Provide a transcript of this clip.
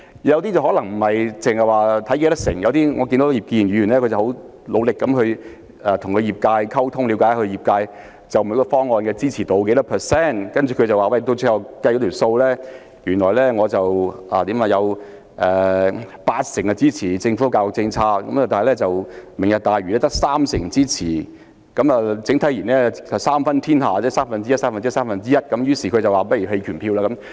有些議員可能不只參考人數比例，例如葉建源議員，我看到他很努力與業界溝通，了解他們就每項方案的支持度有多少，最後得出結論，有八成支持政府的教育政策，但"明日大嶼"計劃只獲三成人的支持，整體而言，是三分天下，即各個項目的支持度為三分之一、不如投下棄權票。